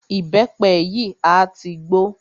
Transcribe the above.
Ìbẹ́pẹ yìí a tí gbó.